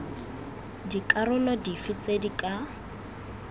dikarolo dife tse di ka